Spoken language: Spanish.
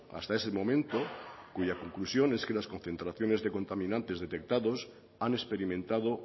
hasta ese momento cuya conclusión es que las concentraciones de contaminantes detectados han experimentado